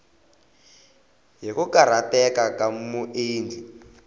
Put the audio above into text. hi ku karhateka ka muendli